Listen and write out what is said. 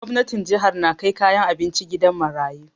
Gwamnatin jihar na kai kayan abinci gidan marayu